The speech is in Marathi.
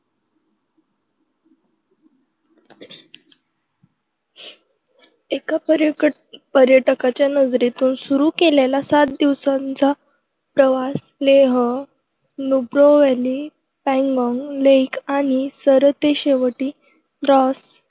एका पर्यटकाच्या नजरेतून सुरू केलेला सात दिवसांचा प्रवास -लेह, नुब्राव्हॅली, पँगाँग लेक आणि सरतेशेवटी द्रास